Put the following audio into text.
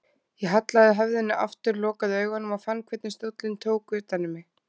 Ég hallaði höfðinu aftur, lokaði augunum og fann hvernig stóllinn tók utan um mig.